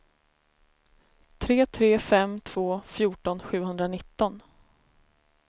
tre tre fem två fjorton sjuhundranitton